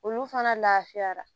Olu fana lafiyara